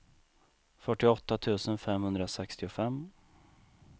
fyrtioåtta tusen femhundrasextiofem